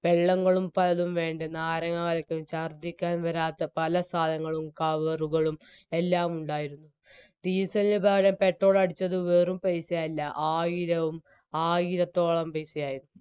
വെള്ളങ്ങളും പലതും വെണ്ടയ് നാരങ്ങ കലക്കിയത് ഛർദിക്കാൻ വരാത്ത പല സാനങ്ങളും കവറുകളും എല്ലാം ഉണ്ടായിരുന്നു diesel നു പകരം petrol അടിച്ചതു വെറും പൈസ അല്ല ആയിരവും ആയിരത്തോളം പൈസയായിരുന്നു